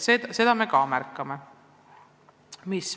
Seda me ka märkame.